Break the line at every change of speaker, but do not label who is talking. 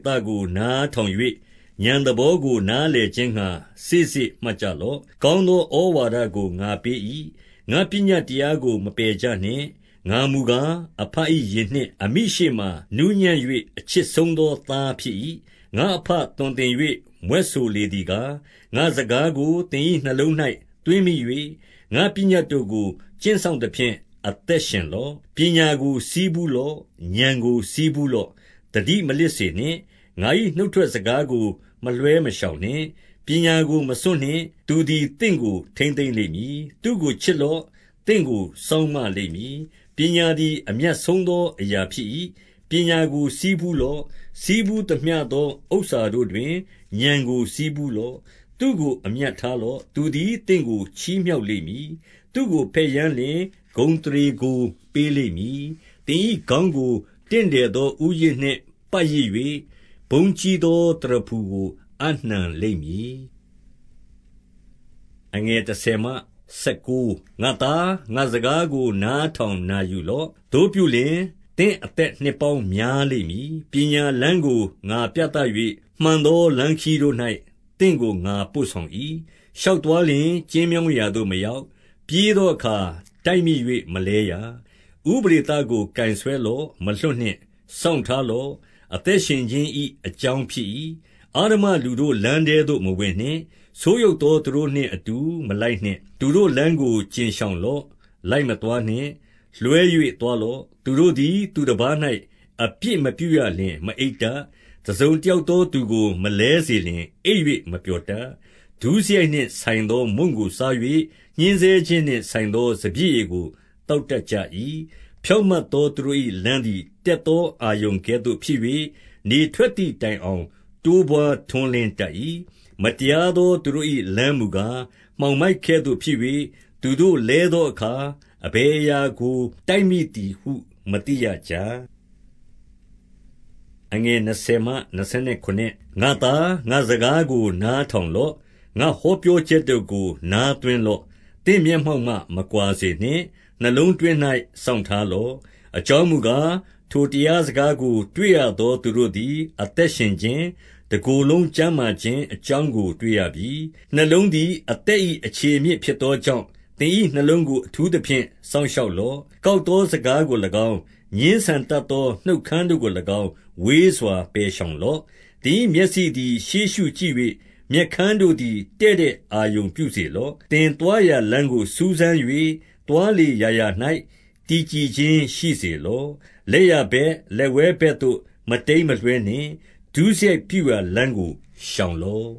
သကို နားထောင်၍၊ ဥာဏ်သဘောကို နားလည်ခြင်းငှါ စေ့စေ့မှတ် ကြလော့။ 2 ကောင်းသောဩဝါဒကို ငါပေး၏။ ငါ့ပညတ် တရားကို မပယ်ကြနှင့်။ 3 ငါမူကား၊ အဘ၏ရင်နှစ်၊ အမိရှေ့မှာနူးညံ့၍ အချစ်ဆုံးသော သားဖြစ်၏။ 4 ငါ့အဘသွန်သင်၍မြွက်ဆိုလေသည်ကား၊ ငါ့စကားကို သင်၏နှလုံး၌ သွင်းမိ၍၊ ငါ့ပညတ်တို့ကို ကျင့်စောင့်သဖြင့် အသက်ရှင်လော့။ 5 ပညာကိုဆည်းဖူးလော့။ ဥာဏ်ကို ဆည်းဖူး လော့။ သတိမလစ်စေနှင့်။ ငါ၏နှုတ်ထွက်စကားကို မလွှဲမရှောင်နှင့်။ 6 ပညာကိုမစွန့်နှင့်။ သူသည်သင့်ကို ထိန်းသိမ်း လိမ့်မည်။ သူ့ကိုချစ်လော့။ သင့်ကို စောင့်မလိမ့်မည်။ 7 ပညာသည် အမြတ်ဆုံးသောအရာဖြစ်၏။ ပညာကိုဆည်းဖူးလော့။ ဆည်းဖူးသမျှသောဥစ္စာတို့တွင် ဥာဏ်ကိုဆည်းဖူးလော့။ 8 သူ့ကိုအမြတ်ထားလော့။ သူသည် သင့်ကို ချီးမြှောက်လိမ့်မည်။ သူ့ကိုဘက်ယမ်းလျှင်၊ ဂုဏ်အသရေ ကို ပေးလိမ့်မည်။ 9 သင်၏ခေါင်းကို တင့်တယ်သောဦးရစ်နှင့် ပတ်ရစ်၍၊ ဘုန်းကြီးသောသရဖူကို အပ်နှံလိမ့်မည်။ 10 ငါ့သား၊ ငါ့စကားကိုနားထောင်နာယူလော့။ သို့ပြုလျှင်၊ သင့်အသက် နှစ်ပေါင်းများလိမ့်မည်။ 11 ပညာလမ်းကိုငါပြသ၍၊ မှန်သောလမ်းခရီးတို့၌ သင့်ကိုငါပို့ဆောင်၏။ 12 ရှောက်သွားလျှင် ကျဉ်းမြောင်းရာသို့မရောက်၊ ပြေးသောအခါ တိုက်မိ၍မလဲရ။ 13 ဥပဒေသကိုကိုင်ဆွဲလော့။ မလွှတ်နှင့်။ စောင့်ထား လော့။ အသက်ရှင်ခြင်း၏အကြောင်းဖြစ်၏။ 14 အဓမ္မလူတို့ လမ်းထဲသို့မဝင်နှင့်။ ဆိုးယုတ် သောသူတို့နှင့်အတူ မလိုက်နှင့်။ 15 သူတို့လမ်းကိုကြဉ်ရှောင်လော့။ လိုက်မသွားနှင့်။ လွှဲ၍သွားလော့။ 16 သူတို့သည်သူတပါး၌ အပြစ်မပြုရလျှင် မအိပ် တတ်။ တစုံတယောက်သော သူကိုမလဲစေလျှင် အိပ်၍ မပျော်တတ်။ 17 ဒုစရိုက်နှင့်ဆိုင်သောမုန့်ကိုစား၍ ညှဉ်းဆဲခြင်း နှင့်ဆိုင်သော စပျစ်ရည်ကို သောက်တတ်ကြ၏။ 18 ဖြောင့်မတ်သောသူတို့၏လမ်းသည် တက်သော အာရုဏ်ကဲ့သို့ဖြစ်၍၊ နေထွက်သည်တိုင်အောင် တိုးပွါး ထွန်းလင်းတတ်၏။ 19 မတရားသောသူတို့၏လမ်းမူကား၊ မှောင်မိုက် ကဲ့သို့ဖြစ်၍၊ သူတို့သည် လဲသောအခါ၊ အဘယ်အရာကို တိုက်မိသည်ဟု မသိရကြ။ 20 ငါ့သား၊ ငါ့စကားကိုနားထောင်လော့။ ငါ ဟောပြောချက်တို့ကို နားသွင်းလော့။ 21 သင့်မျက်မှောက်မှ မကွာစေနှင့်။ နှလုံးတွင်း၌ စောင့်ထားလော့။ 22 အကြောင်းမူကား၊ ထိုတရားစကားကို တွေ့ရ သောသူတို့သည် အသက်ရှင်ခြင်း၊ တကိုယ်လုံးကျန်းမာ ခြင်းအကြောင်းကို တွေ့ရပြီ။ 23 နှလုံးသည်အသက်၏အခြေအမြစ် ဖြစ်သော ကြောင့်၊ သင်၏နှလုံးကို အထူးသဖြင့်စောင့်ရှောက်လော့။ 24 ကောက်သောစကားတို့ကို၎င်း၊ ငြင်းဆန်တတ် သော နှုတ်ခမ်းတို့ကို၎င်း ဝေးစွာ ပယ်ရှောင်လော့။ 25 သင်၏မျက်စိသည် ရှေ့ရှုကြည့်၍၊ မျက်ခမ်းတို့ သည် တည့်တည့်အာရုံပြုစေလော့။ 26 သင်သွားရာလမ်းကို စူးစမ်း၍၊ သွားလေ ရာရာ၌ တည်ကြည်ခြင်းရှိစေလော့။ 27 လက်ျာဘက်၊လက်ဝဲဘက်သို့ မတိမ်းမလွှဲနှင့်။ ဒုစရိုက်ပြုရာ လမ်းကိုရှောင်လော့